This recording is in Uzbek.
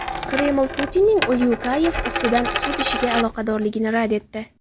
Kreml Putinning Ulyukayev ustidan sud ishiga aloqadorligini rad etdi.